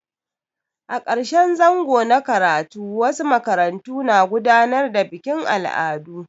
A ƙarshen zango na karatu wasu makarantu na gudanar da bikin al'adu.